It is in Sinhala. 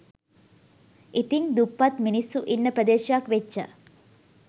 ඉතිං දුප්පත් මිනිස්සු ඉන්න ප්‍රදේශයක් වෙච්ච